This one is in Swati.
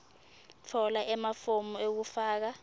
tfola emafomu ekufaka